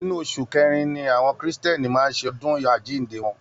Inú oṣù kẹrin ni àwọn kristiẹni máa ń ṣe ọdún àjíǹde wọn